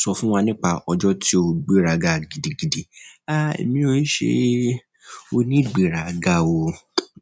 Sọ fún wa nípa ọjọ́ tí o gbéraga gidigidi. Èmi ò ń ṣe onígbéraga o